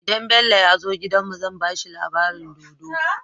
Idan Bello yazo gidan mu zan bashi labarin dodo